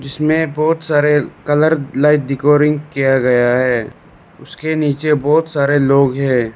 इसमें बहुत सारे कलर लाइट डेकोरिंग किया गया है उसके नीचे बहुत सारे लोग हैं।